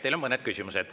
Teile on mõned küsimused.